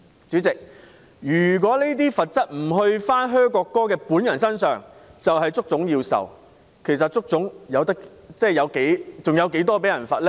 主席，如果"噓"國歌的人不接受懲罰，而要由足總承受，足總還有多少錢被罰呢？